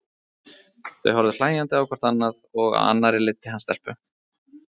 Þau horfðu hlæjandi á hvort annað og á annarri leiddi hann stelpu.